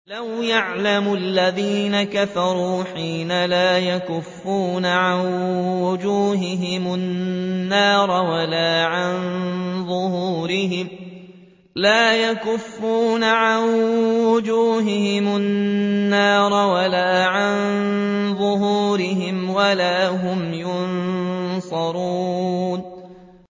لَوْ يَعْلَمُ الَّذِينَ كَفَرُوا حِينَ لَا يَكُفُّونَ عَن وُجُوهِهِمُ النَّارَ وَلَا عَن ظُهُورِهِمْ وَلَا هُمْ يُنصَرُونَ